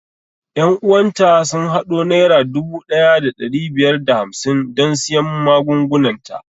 Ƴan uwan ta sun haɗo naira dubu ɗaya da ɗari biyar da hamsin don siyan magungunan ta